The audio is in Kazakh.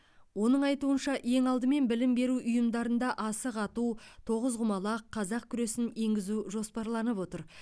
оның айтуынша ең алдымен білім беру ұйымдарында асық ату тоғызқұмалақ қазақ күресін енгізу жоспарланып отыр